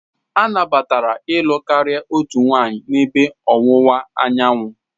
A nabatara ịlụ karịa otu nwanyị n'ebe Ọwụwa Anyanwụ.